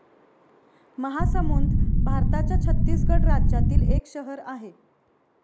महासमुंद भारताच्या छत्तीसगड राज्यातील एक शहर आहे.